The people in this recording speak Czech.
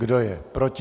Kdo je proti?